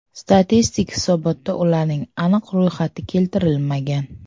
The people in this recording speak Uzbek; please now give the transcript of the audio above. Statistik hisobotda ularning aniq ro‘yxati keltirilmagan.